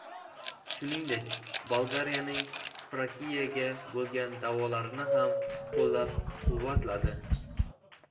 Shuningdek, Bolgariyaning Frakiyaga bo‘lgan da’volarini ham qo‘llab-quvvatladi.